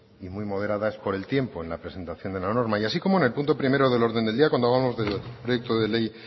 y muy moderada es por el tiempo en la presentación de la norma y así como en el punto primero del orden del día cuando hablábamos del proyecto de ley